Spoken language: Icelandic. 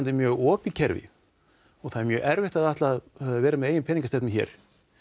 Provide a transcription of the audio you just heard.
er mjög opið kerfi það er mjög erfitt að ætla að vera með eigin peningastefnu hér